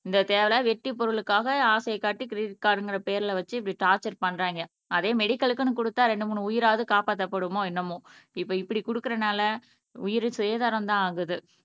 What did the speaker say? இந்த தேவையில்லா வெட்டி பொருளுக்காக ஆசையை காட்டி கிரெடிட் கார்டுங்கிற பேர்ல வச்சு இப்படி டார்ச்சர் பண்றாங்க அதே மெடிக்கல்க்குன்னு குடுத்தா ரெண்டு மூணு உயிராவது காப்பாத்தப்படுமோ என்னமோ இப்ப இப்படி குடுக்கறனால உயிர் சேதாரம்தான் ஆகுது